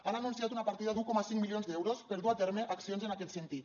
han anunciat una partida d’un coma cinc milions d’euros per dur a terme accions en aquest sentit